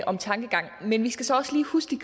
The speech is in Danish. om tankegangen men vi skal så også lige huske